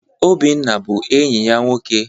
Obinna bụ enyi ya nwoke.